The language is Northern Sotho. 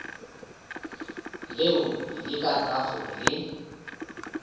leo le ka bago le